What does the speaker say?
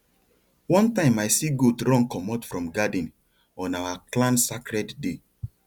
one time i see goat run comot from garden on our clan sacred day